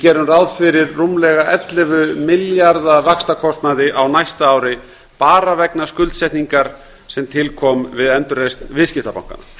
gerum ráð fyrir rúmlega ellefu milljarða á næsta ári bara vegna skuldsetningar sem til kom við endurreisn viðskiptabankanna